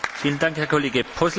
Panie przewodniczący!